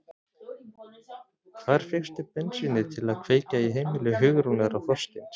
Hvar fékkstu bensínið til að kveikja í heimili Hugrúnar og Þorsteins?